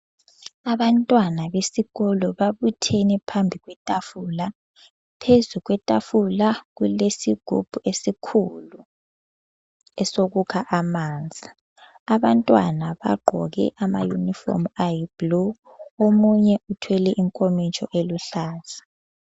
Abantwana besikolo babuthene phambi kwetafula, phezu kwetafula kulesigubhu esikhulu esokukha amanzi, abantwana bagqoke ama yunifomu ayibhulu, omunye uthwele inkomitsho eluhlaza.